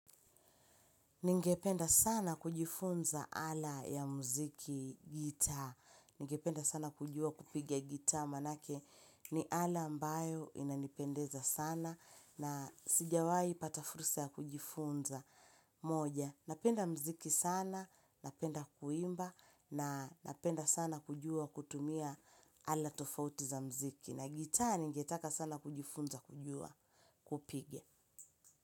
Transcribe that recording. Ningependa sana kujifunza ala ya muziki gitaa. Ningependa sana kujua kupigia gitaa manake ni ala ambayo inanipendeza sana na sijawai pata fursa ya kujifunza moja. Napenda muziki sana, napenda kuimba na napenda sana kujua kutumia ala tofauti za muziki na gitaa ningetaka sana kujifunza kujua kupiga.